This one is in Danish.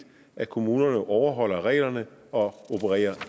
at kommunerne overholder reglerne og opererer